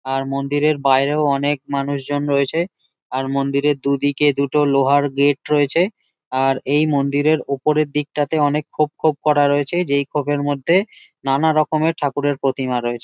আর মন্দিরের বাইরেও অনেক মানুষ জন রয়েছে। আর মন্দিরের দুদিকে দুটো লোহার গেট রয়েছে। আর এই মন্দিরের ওপরের দিকটাতে অনেক খোপ খোপ করা রয়েছে যেই খোপের মধ্যে নানা রকমের ঠাকুরের প্রতিমা রয়েছে।